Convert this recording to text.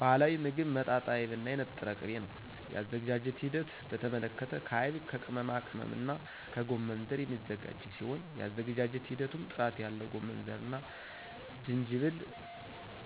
ባህላዊ ሞግብ መጣጣይብ እና የነጠረ ቅቤ ነው የአዘገጃጀቱ ሂደት በተመለከተ ከአይብ ከቅመማቅመምና ከጎመንዘር የሚዘጋጅ ሲሆን የአዘገጃጀት ሂደቱም ጥራት ያለው ጎመንዘርና ጅጅብል